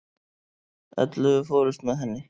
Ellefu fórust með henni.